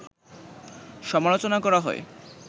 সমালোচনা করা হয়